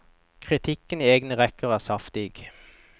Kritikken i egne rekker er saftig.